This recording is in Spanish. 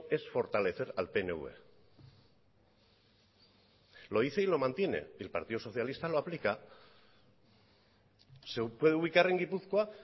es fortalecer al pnv lo dice y lo mantiene el partido socialista lo aplica se puede ubicar en gipuzkoa